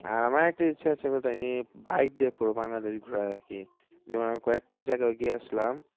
আর আমার একটা ইচ্ছা আছে আমি bike দিয়ে পুরো বাংলাদেশ ঘোরার আরকি যেমন আমি কয়েকটা গিয়েছিলাম